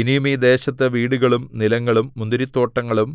ഇനിയും ഈ ദേശത്ത് വീടുകളും നിലങ്ങളും മുന്തിരിത്തോട്ടങ്ങളും